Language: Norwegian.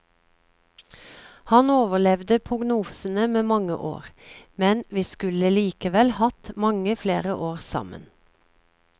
Han overlevde prognosene med mange år, men vi skulle likevel hatt mange flere år sammen.